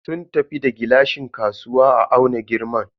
Sun tafi da gilashin kasuwa a auna girman.